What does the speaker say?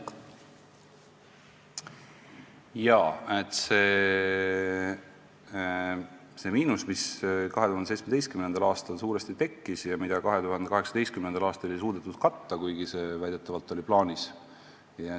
Jaa, see miinus tekkis suuresti 2017. aastal ja 2018. aastal ei suudetud seda katta, kuigi see väidetavalt oli plaanis.